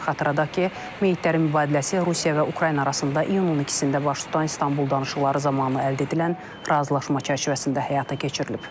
Xatırladaq ki, meyidlərin mübadiləsi Rusiya və Ukrayna arasında iyunun 2-də baş tutan İstanbul danışıqları zamanı əldə edilən razılaşma çərçivəsində həyata keçirilib.